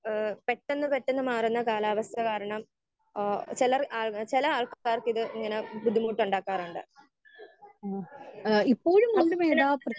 speaker 1 ഏഹ് പെട്ടെന്ന് പെട്ടെന്ന് മാറുന്ന കാലാവസ്ഥ കാരണം ഏഹ് ചിലർ ചില ആൾക്കാർക്കിത് ഇങ്ങനെ ബുദ്ധിമുട്ടുണ്ടാക്കാറുണ്ട്